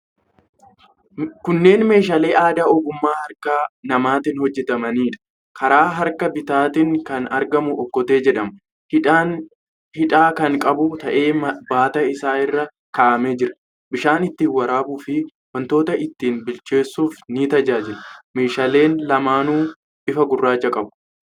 Kunneen meeshaalee aadaa ogummaa harka namaatiin hojjetamaniidha. Karaa harka bitaatiin kan argamu okkotee jedhama. Hidhaa kan qabu ta'ee baataa isaa irra kaa'amee jira. Bishaan itti waraabuufi wantoota itti bilcheessuuf ni tajaajila. Meeshaaleen lamaanuu bifa gurraacha qabu.